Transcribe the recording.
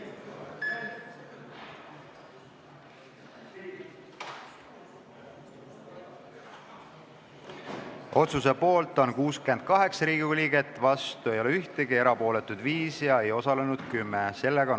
Hääletustulemused Otsuse poolt on 68 Riigikogu liiget, vastu ei ole ühtegi, erapooletuid 5, ei osalenud 10.